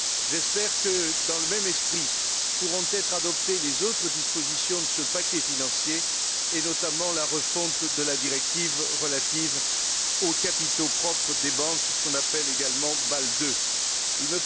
J'espère que, dans le même esprit, pourront être adoptées les autres dispositions de ce paquet financier, et notamment la refonte de la directive relative aux capitaux propres des banques, ce que l'on appelle également Bâle II.